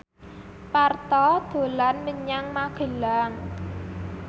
Parto dolan menyang Magelang